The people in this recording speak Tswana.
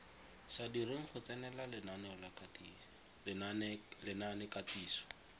sa direng go tsenela lenaanekatiso